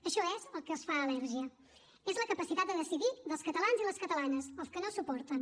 això és el que els fa al·lèrgia és la capacitat de decidir dels catalans i les catalanes el que no suporten